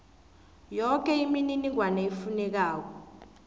yoke imininingwana efunekako